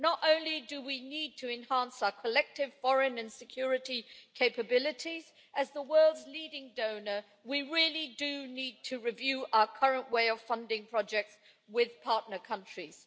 Not only do we need to enhance our collective foreign and security capabilities as the world's leading donor, we really do need to review our current way of funding projects with partner countries.